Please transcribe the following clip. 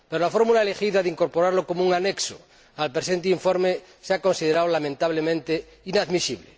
Pero la fórmula elegida de incorporarlo como un anexo al presente informe se ha considerado lamentablemente inadmisible.